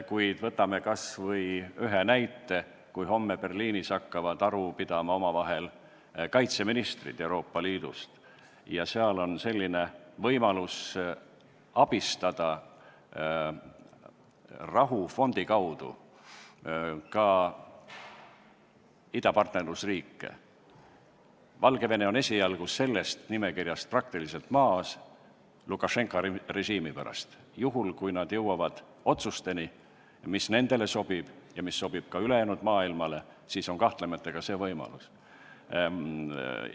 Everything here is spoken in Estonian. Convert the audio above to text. Kuid võtame kas või ühe näite: kui homme hakkavad Berliinis omavahel aru pidama Euroopa Liidu riikide kaitseministrid ja tekib võimalus abistada rahufondi kaudu ka idapartnerluse riike – Valgevene on esialgu sellest nimekirjast Lukašenka režiimi pärast praktiliselt väljas –, siis juhul, kui nad jõuavad otsuseni, mis sobib nendele ja ka ülejäänud maailmale, on kahtlemata ka see võimalus olemas.